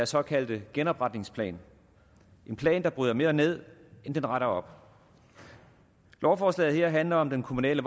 såkaldte genopretningsplan en plan der bryder mere ned end den retter op lovforslaget her handler om den kommunale